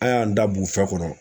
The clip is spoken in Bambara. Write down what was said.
An y'an da bugufiyɛ kɔnɔ.